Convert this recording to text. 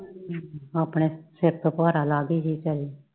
ਆਪਣੇ ਸਿਰ ਤੋਂ ਭਾਰਾ ਲਾ ਗਈ ਹੀ ਵਿਚਾਰੀ